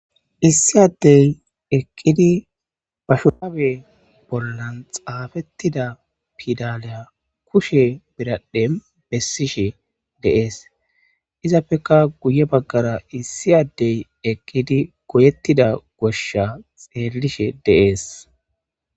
Issi addey eqqidi ba shurabbe bollan xafetida piddale kushshe biradhdhen bessishe de'es izappeka guye baggara issi addey eqqidi goyettida goshsha xellishe de'es.